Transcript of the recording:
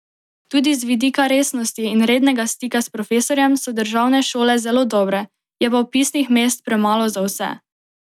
Tudi z vidika resnosti in rednega stika s profesorjem so državne šole zelo dobre, je pa vpisnih mest premalo za vse.